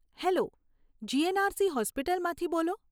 Hello! GNRC હોસ્પિટલમાંથી બોલો?